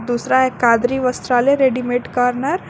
दूसरा है कादरी वस्त्रालय रेडीमेड कॉर्नर।